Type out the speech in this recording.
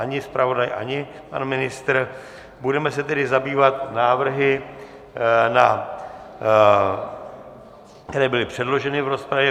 Ani zpravodaj, ani pan ministr, budeme se tedy zabývat návrhy, které byly předloženy v rozpravě.